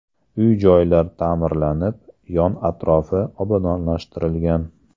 Uy-joylar ta’mirlanib, yon-atrofi obodonlashtirilgan.